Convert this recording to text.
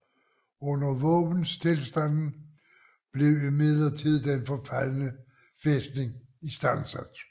Under våbenstilstanden blev imidlertid den forfaldne fæstning istandsat